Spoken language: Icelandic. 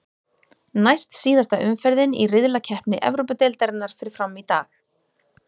Næst síðasta umferðin í riðlakeppni Evrópudeildarinnar fer fram í dag.